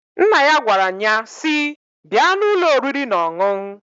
Nna ya gwara nnyaa si,"Bịa n'ụlọ oriri n'ọṅụṅ!"